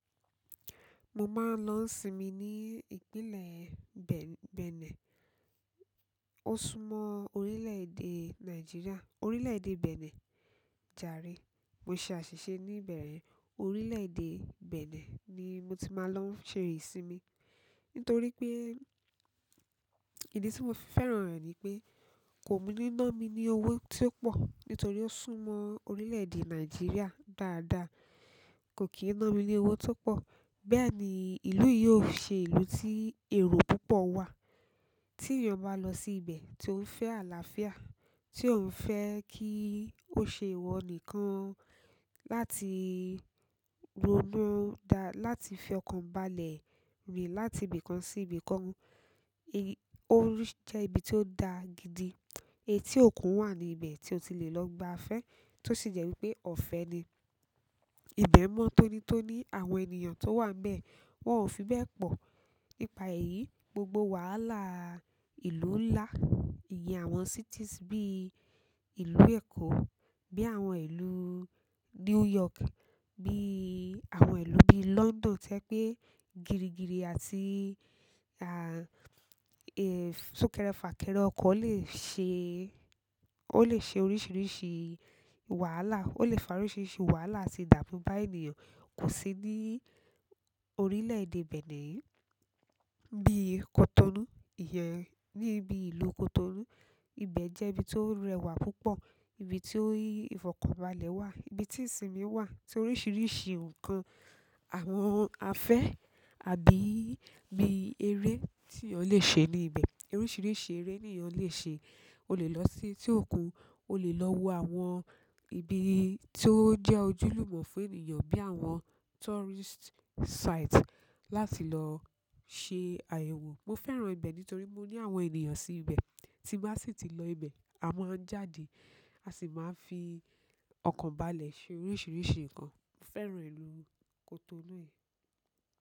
Mo máa ń lọ sinmi ní Ìpínlẹ̀ Benẹ. Ó súnmọ́ orílẹ̀ èdè Nàìjíríà, orílẹ̀ èdè Benẹ. Jàre, mo ṣe àṣìṣe níbẹ̀rẹ. Orílẹ̀ èdè Benẹ ni mo ti máa ń lọ ṣe ìsinmi. Nítorí pé ìdí tí mo fi fẹ́ràn rẹ̀ ni pé kò ní ná mi ní owó tí ó pọ̀. Nítorí ó súnmọ́ orílẹ̀ èdè Nàìjíríà dáadáa, kò kì í ná mi ní owó tó pọ̀. Bẹ́ẹ̀ ni ìlú yìí ó ṣe ìlú tí èrò púpọ̀ wà. Tí ènìyàn bá lọ sí ibẹ̀ tí ó ń fẹ́ àlàáfíà, tí òun fẹ́ kí ó ṣe ìwọ nìkan láti ronú dá-- láti fi ọkàn balẹ̀ rìn láti ibìkan sí ibìkan. Ó rí i jẹ́ ibi tí ó da gidi. Etí òkun wà ní ibẹ̀ tí o ti lè lọ gba afẹ́, tó sì jẹ́ wípé ọ̀fẹ́ ni. Ìbẹ̀ mọ́ tónítóní, àwọn ènìyàn tó wà níbẹ̀ wọ́n ò fi bẹ́ẹ̀ pọ̀. Ípà èyí gbogbo wàhálà ìlú ńlá, ìyẹn àwọn cities bí ìlú Èkó, bí àwọn ìlú New York, bí àwọn ìlú bí i London tẹ́ ye pé gìrìgìrì àti, sunkere fakere okọ́ le se, o le se oríṣiríṣi wàhálà. Ó lè fa oríṣìíríṣìí wàhálà àti idamu ba ènìyàn kò sí ní orílẹ̀ èdè Benẹ yìí. Bí i Cotonou, ìyẹn ní ibi ìlú Cotonou, ibẹ̀ jẹ́ ibi tó rẹwà púpọ̀, ibi tí ìfọ̀kànbalẹ̀ wà, ibi tí ìsinmi wà tí oríṣìíríṣìí ǹkan, àwọn afẹ́ àbí bí eré tí ènìyàn lè ṣe ní ibẹ̀. Oríṣìíríṣìí eré ni èèyàn lè ṣe. O le lọ sí etí òkun, o le lo wo àwọn ibí ti o je ojúlùmò fún ènìyàn, bi àwọn tourists site láti lo se àyẹ̀wò. Mo fẹ́ràn ibẹ̀ nítorí mo ní àwọn ènìyàn sí ibẹ̀. Tí bà sì ti lọ ibẹ̀, a máa ń jáde, a sì máa ń fi ọkàn balẹ̀ ṣe oríṣìíríṣìí ǹkan. Mo fẹ́ràn ìlú Cotonou yìí.